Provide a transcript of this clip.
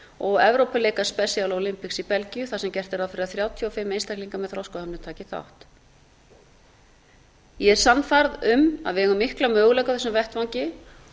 og evrópuleikar special olympics í belgíu þar sem gert er ráð fyrir að þrjátíu og fimm einstaklingar með þroskahömlun taki þátt ég er sannfærð um að við eigum mikla möguleika á þessum vettvangi